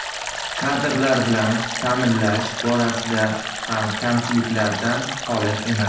Kadrlar bilan ta’minlash borasida ham kamchiliklardan holi emas.